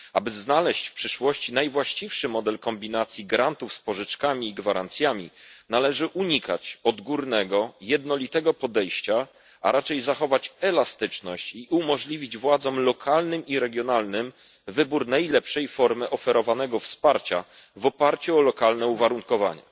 Aby znaleźć w przyszłości najwłaściwszy model kombinacji grantów z pożyczkami i gwarancjami, należy unikać odgórnego jednolitego podejścia, a raczej zachować elastyczność i umożliwić władzom lokalnym i regionalnym wybór najlepszej formy oferowanego wsparcia w oparciu o lokalne uwarunkowania.